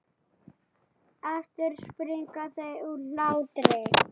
Aftur springa þau úr hlátri.